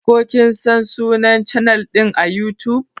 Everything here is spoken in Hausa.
Ka /kin San sunnan chanal din à YouTube?